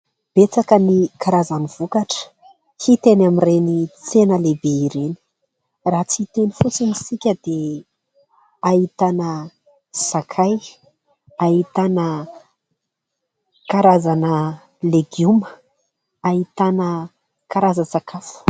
Betsaka ny karazany vokatra hita eny amin'ireny tsena lehibe ireny, raha tsy hiteny fotsiny isika dia ahitana sakay, ahitana karazana legioma, ahitana karazan-tsakafo.